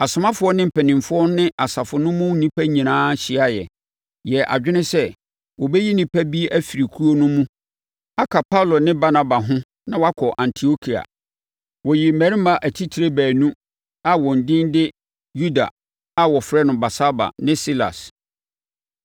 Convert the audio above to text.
Asomafoɔ ne mpanimfoɔ ne asafo no mu nnipa nyinaa hyiaeɛ, yɛɛ adwene sɛ wɔbɛyi nnipa bi afiri kuo no mu aka Paulo ne Barnaba ho na wɔakɔ Antiokia. Wɔyii mmarima atitire baanu a wɔn din de Yuda, a wɔfrɛ no Barsaba ne Silas.